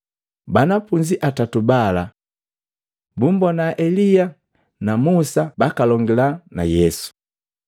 Banafunzi atatu bala, bumbona Elia na Musa bakalongila na Yesu.